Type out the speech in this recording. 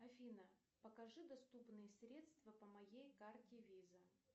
афина покажи доступные средства по моей карте виза